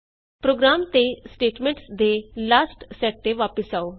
programme ਤੇ statements ਦੇ last set ਤੇ ਵਾਪਸ ਆਉ